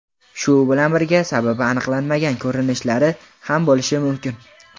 Shu bilan birga sababi aniqlanmagan ko‘rinishlari ham bo‘lishi mumkin.